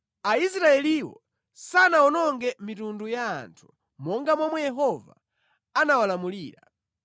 Aisraeliwo sanawononge mitundu ya anthu monga momwe Yehova anawalamulira.